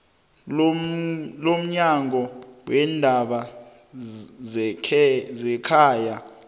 lomnyango weendaba zekhaya